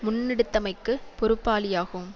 முன்னெடுத்தமைக்குப் பொறுப்பாளியாகும்